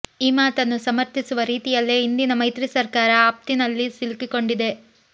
ಈ ಮಾತನ್ನು ಸಮರ್ಥಿಸುವ ರೀತಿಯಲ್ಲೇ ಇಂದಿನ ಮೈತ್ರಿ ಸರ್ಕಾರ ಆಪತ್ತಿನಲ್ಲಿ ಸಿಲುಕಿಕೊಂಡಿದೆ